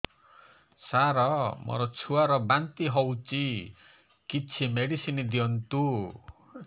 ସାର ମୋର ଛୁଆ ର ବାନ୍ତି ହଉଚି କିଛି ମେଡିସିନ ଦିଅନ୍ତୁ